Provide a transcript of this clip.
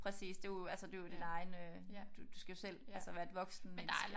Præcis det er jo altså det er jo din egen øh du skal jo selv altså være et voksent menneske